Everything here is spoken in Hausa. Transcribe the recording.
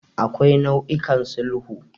Akwai nau'ikan sulhu.